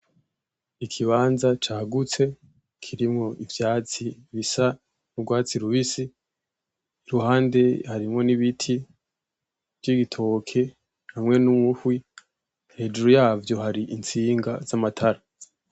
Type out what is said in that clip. Ikibanza cagutse kirimwo ivyatsi bisa n'urwatsi rubisi, iruhande harimwo n'ibiti vy'igitoke hamwe n'umuhwi. Hejuru yavyo hari intsinga z'amatara.